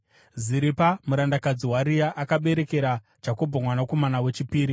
Ziripa murandakadzi waRea akaberekera Jakobho mwanakomana wechipiri.